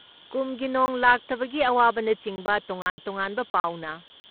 ꯀꯨꯝꯒꯤ ꯅꯣꯡ ꯂꯥꯛꯇꯕꯒꯤ ꯑꯋꯥꯕꯅꯆꯤꯡꯕ ꯇꯣꯉꯥꯟ ꯇꯣꯉꯥꯟꯕ ꯄꯥꯎꯅ